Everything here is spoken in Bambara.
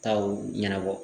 Taw ɲɛnabɔ